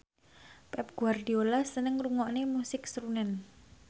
Pep Guardiola seneng ngrungokne musik srunen